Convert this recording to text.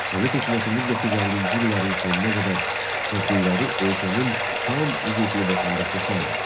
Sovet hökuməti 1950-ci illərin sonuna qədər kəndliləri ölkənin tam hüquqlu vətəndaşı saymır.